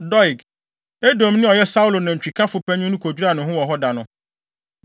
Doeg, Edomni a ɔyɛ Saulo nantwikafo panyin no kodwiraa ne ho wɔ hɔ da no.